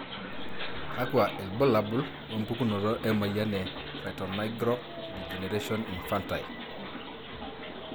kakwa ilbulabul opukunoto emoyian e triatonigral degeneration infantile?